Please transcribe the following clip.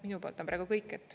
Minu poolt on praegu kõik.